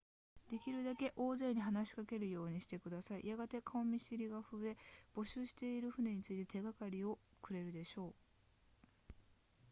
できるだけ大勢に話しかけるようにしてくださいやがて顔見知りが増え募集している船について手がかりをくれるでしょう